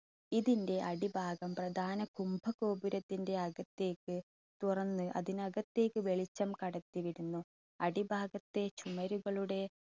ഇതിൻറെ അടിഭാഗം പ്രധാന കുംഭഗോപുരത്തിന്റെ അകത്തേക്ക് തുറന്ന് അതിനകത്തേക്ക് വെളിച്ചം കടത്തിവിടുന്നു. അടിഭാഗത്തെ ചുമരുകളുടെ